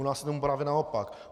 U nás je tomu právě naopak.